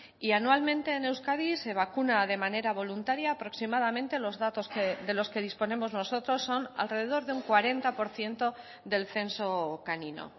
y anualmente en euskadi se vacuna de manera voluntaria aproximadamente los datos de los que disponemos nosotros son alrededor de un cuarenta por ciento del censo canino